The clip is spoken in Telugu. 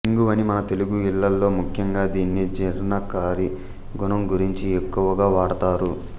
ఇంగువని మన తెలుగు ఇళ్ళల్లో ముఖ్యంగా దీని జీర్ణకారి గుణం గురించి ఎక్కువగా వాడతారు